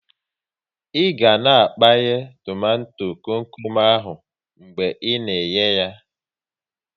Ị ga na a kpaya tomato kom kom ahụ mgbe ị na eye yá